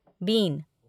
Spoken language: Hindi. बीन